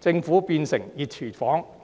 政府變成"熱廚房"。